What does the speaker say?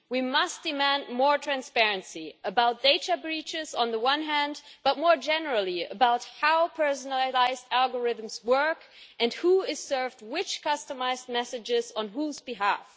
We must demand more transparency about data breaches on the one hand, but more generally about how personalised algorithms work and who is served which customised messages on whose behalf.